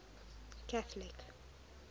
catholic